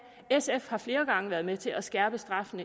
sf har flere gange været med til at skærpe straffen